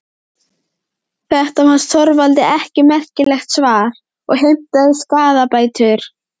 Þetta fannst Þorvaldi ekki merkilegt svar og heimtaði skaðabætur.